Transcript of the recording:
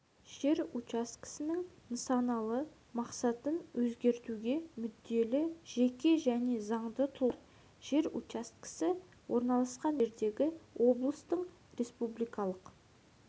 жер учаскесінің нысаналы мақсатын өзгертуге мүдделі жеке және заңды тұлғалар жер учаскесі орналасқан жердегі облыстың республикалық